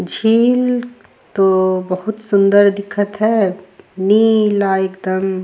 झील तो बहुत सुन्दर दिखत हैं नीला एकदम --